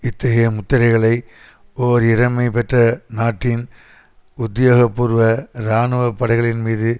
இத்தகைய முத்திரைகளை ஓர் இறைமை பெற்ற நாட்டின் உத்தியோகபூர்வ இராணுவ படைகளின்மீது